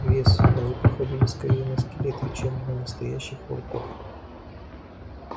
вес они походили скорее на скелеты чем на настоящих волков